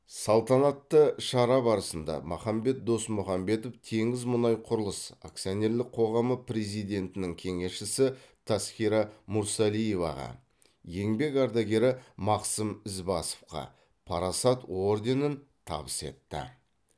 салтанатты шара барысында махамбет досмұхамбетов теңізмұнайқұрылыс акционерлік қоғамы президентінің кеңесшісі тасқира мүрсалиеваға еңбек ардагері мақсым ізбасовқа парасат орденін табыс етті